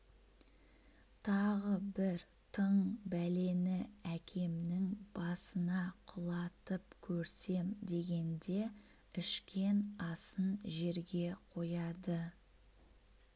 тағы бір тың бәлені әкемнің басына құлатып көрсем дегенде ішкен асын жерге қояды